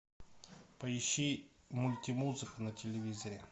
поищи мульти музыку на телевизоре